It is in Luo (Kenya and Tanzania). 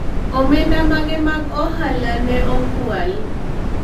omenda mage mag ohala ne okwal